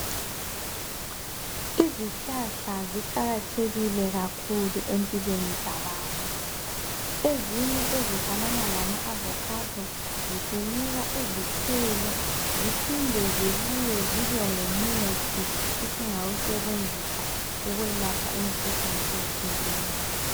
Izihlahla ziqakathekile kakhulu empilweni zabantu. Ezinye ezifanana lama avakhado zisinika izithelo ziphinde zibuye zibengumuthi esingawusebenzisa ukwelapha imikhuhlane etshiyeneyo